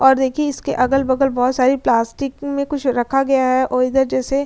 और देखिए इसके अगल-बगल बहोत सारी प्लास्टिक में कुछ रखा गया हैऔर इधर जैसे --